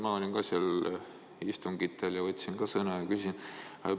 Ma olin istungitel, võtsin ka sõna ja küsisin.